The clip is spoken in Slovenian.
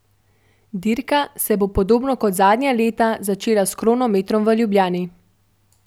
Dirka se bo podobno kot zadnja leta začela s kronometrom v Ljubljani.